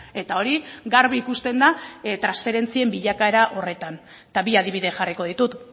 eta hori garbi ikusten da transferentzien bilakaera horretan eta bi adibide jarriko ditut